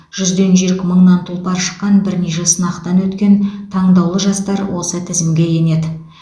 жүзден жүйрік мыңнан тұлпар шыққан бірнеше сынақтан өткен таңдаулы жастар осы тізімге енеді